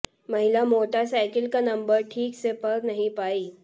महिला मोटरसाइकिल का नंबर ठीक से पढ़ नहीं पाई